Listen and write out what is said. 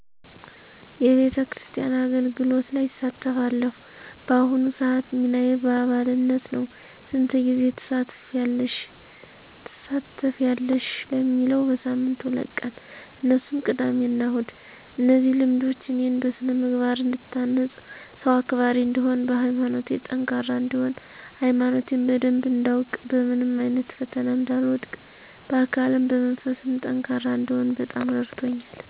የቤተክርስቲያን አገልግሎቶች ላይ እሳተፋለሁ። በአሁኑ ስዓት ሚናዬ በአባልነት ነው። ስንት ጊዜ ትሳተፌያለሽ ለሚለው በሳምንት ሁለት ቀን እነሱም ቅዳሜ እና እሁድ። እነዚህ ልምዶች እኔን በስነምግባር እንድታነፅ፣ ሰው አክባሪ እንድሆን፣ በሀይማኖቴ ጠንካራ እነድሆን፣ ሀይማኖቴን በደንብ እንዳውቅ፣ በምንም አይነት ፈተና እንዳልወድቅ፣ በአካልም በመንፈስም ጠንካራ እንድሆን በጣም ረድቶኛል።